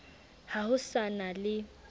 ha ho sa na le